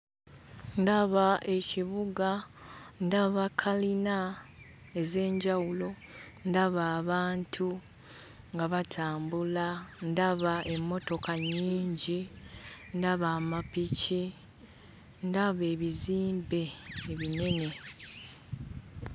Ndaba ekibuga, ndaba kalina ez'enjawulo, ndaba abantu nga batambula, ndaba emmotoka nnyingi, ndaba amapiki, ndaba ebizimbe ebinene.